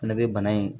Fɛnɛ be bana in